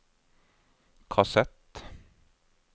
kassett